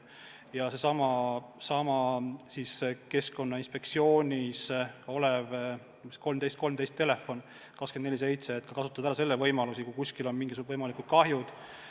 Ja seesama Keskkonnainspektsiooni telefon 1313 – see töötab 24/7 ja saab kasutada selle võimalusi, kui kuskil on mingisugune kahju tekkinud.